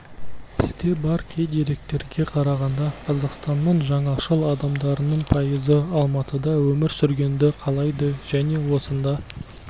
бізде бар кей деректерге қарағанда қазақстанның жаңашыл адамдарының пайызы алматыда өмір сүргенді қалайды және осында